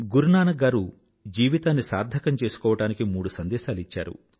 గురునానక్ గారు జీవితాన్ని సార్థకం చేసుకోవడానికి మూడు సందేశాలు ఇచ్చారు